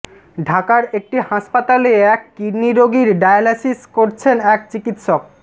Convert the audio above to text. ঢাকার একটি হাসপাতালে এক কিডনি রোগীর ডায়ালাইসিস করছেন এক চিকিৎসক